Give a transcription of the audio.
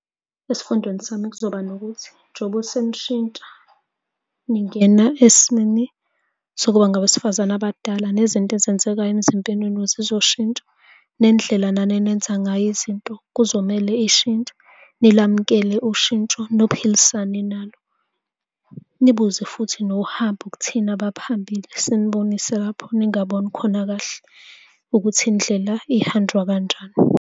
Esifundweni sami kuzoba nokuthi njoba senishintsha ningena esimeni sokuba ngabesifazane abadala nezinto ezenzekayo emzimbeni wenu zizoshintsha. Nendlela nani enenza ngayo izinto kuzomele ishintshe, nilamukele ushintsho, niphilisane nalo. Nibuze futhi nohambo kuthina abaphambili sinibonise lapho ningaboni khona kahle ukuthi indlela ihanjwa kanjani.